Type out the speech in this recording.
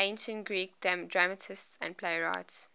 ancient greek dramatists and playwrights